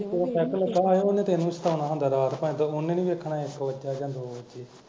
ਜਦੋਂ ਪੈੱਗ ਲੱਗਾ ਹੋਏ ਉਹਨੇ ਤੈਨੂੰ ਈ ਸਤਾਉਣਾ ਹੁੰਦਾ ਰਾਤ xx ਉਹਨੇ ਨੀ ਵੇਖਣਾ ਇੱਕ ਵਜਾ ਯਾ ਦੋ ਵੱਜੇ